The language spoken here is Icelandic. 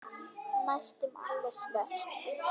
Næstum alveg svört.